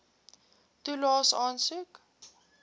toelaes aansoek